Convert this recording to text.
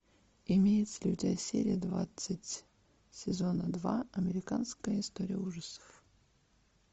имеется ли у тебя серия двадцать сезона два американская история ужасов